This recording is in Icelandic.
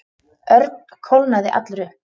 Örn kólnaði allur upp.